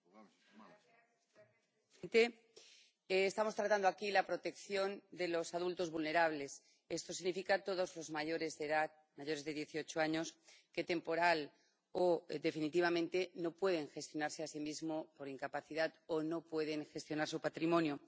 Señor presidente, estamos tratando aquí la protección de los adultos vulnerables, es decir, todos los mayores de edad, mayores de dieciocho años que, temporal o definitivamente, no pueden gestionarse a sí mismos por incapacidad o no pueden gestionar su patrimonio.